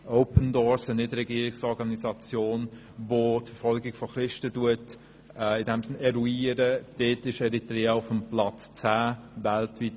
Open Doors, eine Nicht-Regierungsorganisation, welche die Verfolgung von Christen eruiert, listet Eritrea auf dem 10. Platz weltweit.